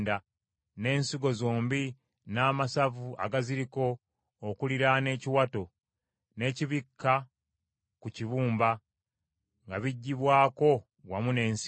n’ensigo zombi n’amasavu agaziriko okuliraana ekiwato, n’ekibikka ku kibumba nga biggyibwako wamu n’ensigo.